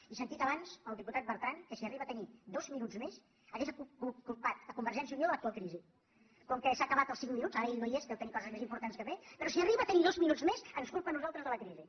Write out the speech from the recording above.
he sentit abans el diputat bertran que si arriba a tenir dos minuts més hauria culpat convergència i unió de l’actual crisi com que s’han acabat els cinc minuts ara ell no hi és deu tenir coses més importants a fer però si arriba a tenir dos minuts més ens culpa a nosaltres de la crisi